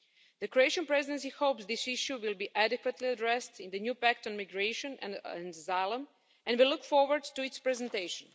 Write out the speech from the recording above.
The Croatian Presidency hopes this issue will be adequately addressed in the new pact on migration and asylum, and we look forward to its presentation.